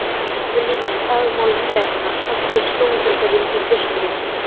Ofurlítil dagmálaglenna sást við sjóndeildarhring í austri.